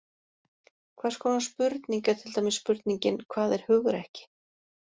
Hvers konar spurning er til dæmis spurningin Hvað er hugrekki?